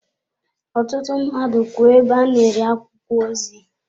Ọtụtụ mmadụ kwú ebe a na-ere akwụkwọ ozi.